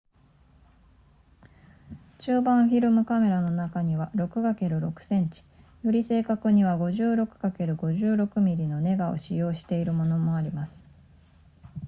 中判フィルムカメラの中には、6×6 cm、より正確には 56×56 mm のネガを使用しているものもあります